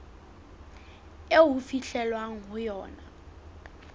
eo ho fihlwang ho yona